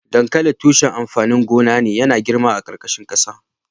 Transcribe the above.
Dankali tushen amfanin gona ne .Yana girma a karkashin kasa.